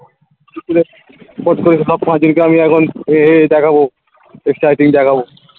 ফস করে যেদিনকে আমি এখন এ এই দেখাবো S typing দেখাবো